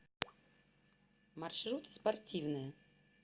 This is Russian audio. маршрут спортивная